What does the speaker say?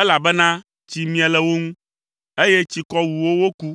elabena tsi mie le wo ŋu, eye tsikɔ wu wo woku.